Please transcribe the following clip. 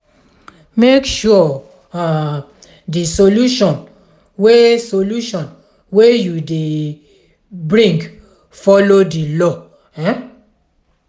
make sure um di solution wey solution wey you dey brign follow di law um